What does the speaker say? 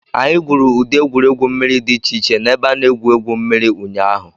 Anyị gwuru ụdị egwuregwu mmiri dị iche iche na ebe a na-egwu egwu mmiri ụnyaahụ.